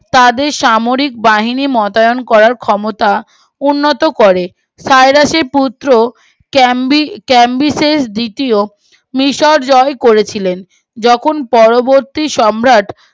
তাদের সাময়িক বাহিনী গঠন করার ক্ষমতা উন্নত করে সাইলাসের পুত্র কেম্বি কেম্বিসেস দ্বিতৃয় মিশর জয় করেছিলেন যখন পরবর্তী সম্রাট